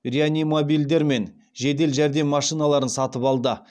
реанимобильдер мен жедел жәрдем машиналарын сатып алды